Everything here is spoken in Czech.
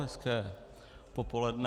Hezké popoledne.